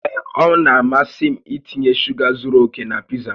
Ee, ọ na-amasị m itinye shuga zuru oke na pizza m